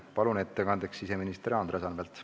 Palun siia ettekandeks siseminister Andres Anvelti!